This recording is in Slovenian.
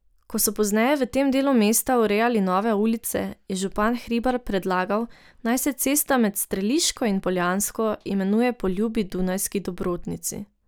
Ko so pozneje v tem delu mesta urejali nove ulice, je župan Hribar predlagal, naj se cesta med Streliško in Poljansko imenuje po ljubi dunajski dobrotnici.